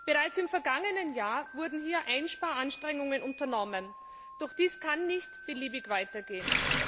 Bereits im vergangenen Jahr wurden hier Einsparanstrengungen unternommen. Doch dies kann nicht beliebig weitergehen.